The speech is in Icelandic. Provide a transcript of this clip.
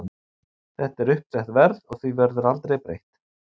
Þetta er uppsett verð og því verður aldrei breytt.